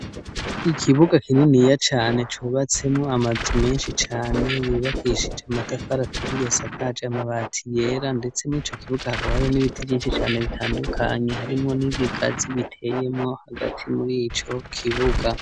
Ikibuga kininiya cane cubatsemwo amazu menshi cane, yubakishije amatafari aturiye, asakaje amabati yera, ndetse mur'ico kibuga hakaba hari n'ibiti vyinshi cane bitandukanye harimwo n'ibigazi biteyemo hagati muri ico kibuga.